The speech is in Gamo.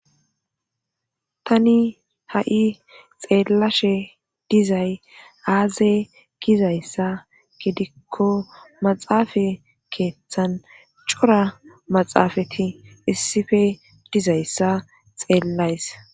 Tani ha7i xeellashe dizay aaze gizayssa gidikko maxaafa keeththan cora maxaafati issippe dizayssa xeellays.